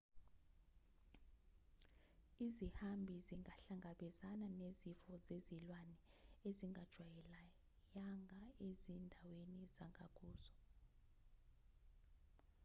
izihambi zingahlangabezana nezifo zezilwane ezingazijwaleyanga ezindaweni zangakuzo